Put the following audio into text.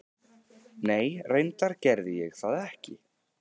Nei reyndar gerði ég það ekki.